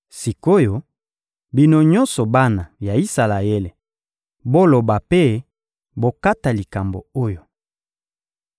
Sik’oyo, bino nyonso bana ya Isalaele, boloba mpe bokata likambo oyo.